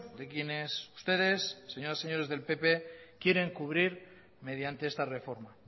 de quienes ustedes señoras y señores del pp quieren cubrir mediante esta reforma